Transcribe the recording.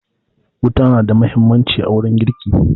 Wuta na da huhimmaci a wurin girki